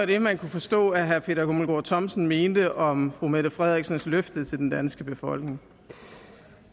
det man kan forstå herre peter hummelgaard thomsen mener om fru mette frederiksens løfte til den danske befolkning